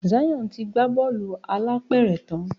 Zion tí gbà Bọ́ọ̀lù alápẹ̀rẹ̀ tán.